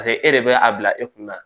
Paseke e de bɛ a bila e kunna